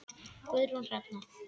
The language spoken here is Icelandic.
Guðrún Hrefna.